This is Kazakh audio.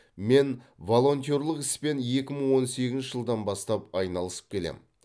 мен волонтерлік іспен екі мың он сегізінші жылдан бастап айналысып келем